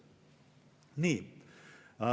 Nii.